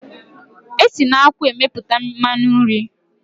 Esi na akwụ emepụta mmanụ nri.